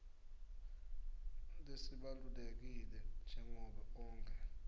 lesibalulekile njengobe onkhe